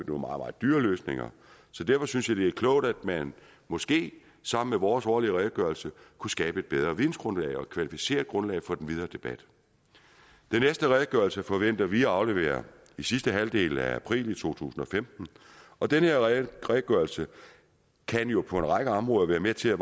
meget dyre løsninger så derfor synes jeg at det er klogt at man måske sammen med vores årlige redegørelse kunne skabe et bedre vidensgrundlag og et kvalificeret grundlag for den videre debat den næste redegørelse forventer vi at aflevere i sidste halvdel af april to tusind og femten og den redegørelse kan jo på en række områder være med til